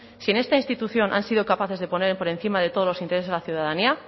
si en esta institución han sido capaces de poner por encima de todos los intereses a la ciudadanía